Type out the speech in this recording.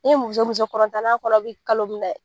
Ni muso muso n'a kɔnɔ bi kalo mun dɛ!